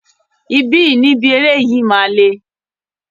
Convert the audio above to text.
Ibi ni ibi eré yìí máa le.